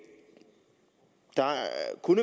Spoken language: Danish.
kunne